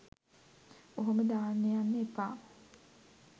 ඔහොම දාන්න යන්න එපා.